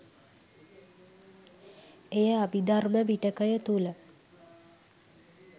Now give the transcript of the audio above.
එය අභිධර්ම පිටකය තුළ